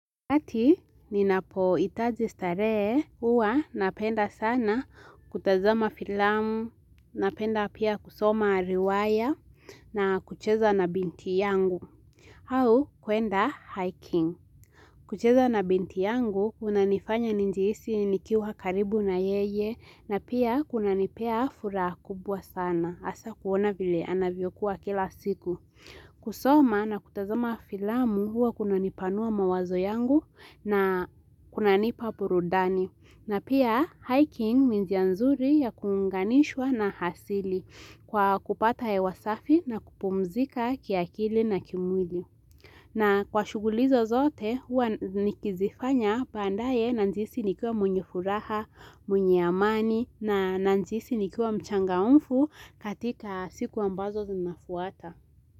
Wakati, ninapoitaji staree, huwa napenda sana kutazama filamu, napenda pia kusoma riwaya na kucheza na binti yangu. Au, kuenda hiking. Kucheza na binti yangu, unanifanya nijihisi nikiwa karibu na yeye, na pia kunanipea furaha kubwa sana. Asa kuona vile, anavyokuwa kila siku. Kusoma na kutazama filamu huwa kunanipanua mawazo yangu na kunanipa purudani. Na pia hiking ni njia nzuri ya kuunganishwa na hasili kwa kupata hewa safi na kupumzika kiakili na kimwili. Na kwa shuguli hizo zote huwa nikizifanya bandaye nanjiisi nikiwa mwenye furaha, mwenye amani nanjiisi nikiwa mchangamfu katika siku ambazo zinafuata.